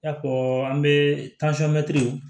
I n'a fɔ an be